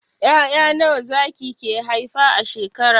Ya'ya nawa zaki ke haifa a shekara?